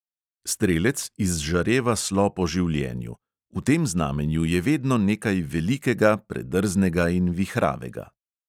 Strelec izžareva slo po življenju; v tem znamenju je vedno nekaj velikega, predrznega in vihravega.